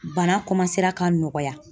Bana ka nɔgɔya